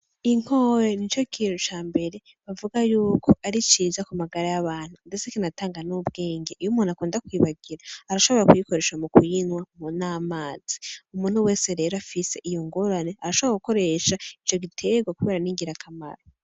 Inkore nico kintu cambere bavuga yuko ari ciza ku magara ya bantu, ndetse kinatanga n'ubwenge, iyo umuntu akundi kwibagira arashora kuyikoresha mu kuyinywa n'amazi, umuntu wese rero afise iyo ngorane arashobora gukoresha ico gitegwa kubera ni ngirakamaro.